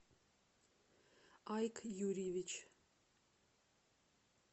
айк юрьевич